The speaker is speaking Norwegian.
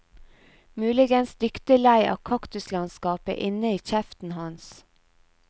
Muligens dyktig lei av kaktuslandskapet inne i kjeften hans.